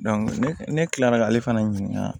ne kila la ka ale fana ɲininka